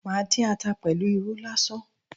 Màá dín ata pẹ̀lú irú lásán